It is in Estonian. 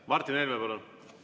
Martin Helme, palun!